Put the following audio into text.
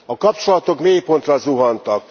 A kapcsolatok mélypontra zuhantak.